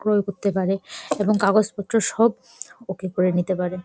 ঘর করতে পারে এবং কাগজ পত্র সব ওকে করে নিতে পারে ।